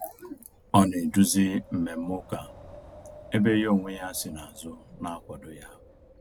Ọ na eduzi mmemme ụka, ebe ya ọ nwe ya si na azụ na-akwado ya